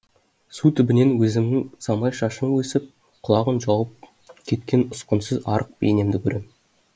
су түбінен өзімнің самай шашым өсіп құлағын жауып кеткен ұсқынсыз арық бейнемді көрем